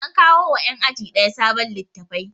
An kawo ma yan aji ɗaya sabon littafai